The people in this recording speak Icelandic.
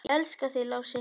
Ég elska þig, Lási.